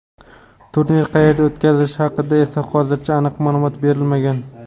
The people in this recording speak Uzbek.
Turnir qayerda o‘tkazilishi haqida esa hozircha aniq ma’lumot berilmagan.